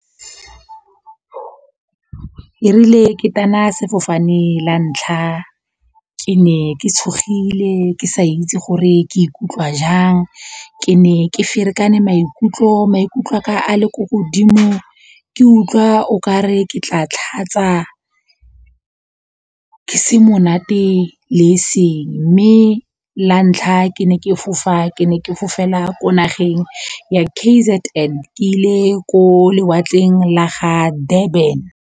Erile ke tana sefofane la ntlha ke ne ke tshogile ke sa itse gore ke ikutlwa jang, ke ne ke ferekane maikutlo, maikutlo a ka a le ko godimo ke utlwa o kare ke tla tlhatsa ke se monate le e seng mme la ntlha ke ne ke fofa ke ne ke fofela ko nageng ya KZN, ke ile ko lewatleng la ga Durban.